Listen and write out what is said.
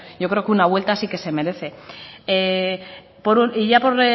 yo creo que una vuelta sí que se merece y ya